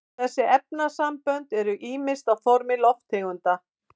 þessi efnasambönd eru ýmist á formi lofttegunda